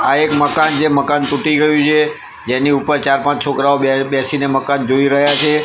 આ એક મકાન છે મકાન ટુટી ગયું છે જેની ઉપર ચાર-પાંચ છોકરાઓ બે બેસીને મકાન જોય રહ્યા છે.